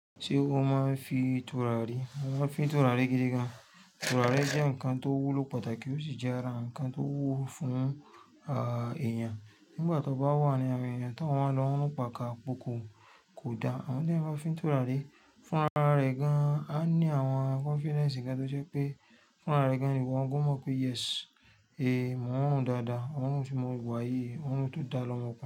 Ṣé ó máa ń fi turari? Mo máa ń fi turari gidigan. Turari jẹ́ ǹkan tó wúlò pàtàkì ó sì jẹ́ ara ǹkan tó wúlo fún, à, èèyàn. Nígbà tí ó bá wà ní àrin ẹ̀yàn tí o wáa ń lọ run pàkapòko kò da, àmo teyan báa ń fi ń turari. Fún ara rẹ̀ gan-an, á ní àwọn confidence gan-an tó ṣe pé fún ara rẹ̀ gan-an ni wo gan mọ̀ pé yes, èé, mo ń ròun dáadáa, orun ti mó wà yìí, òrun tó dá lọmọkùnrin.